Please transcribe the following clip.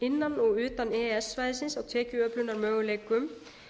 innan og utan e e s svæðisins á tekjuöflunarmöguleikum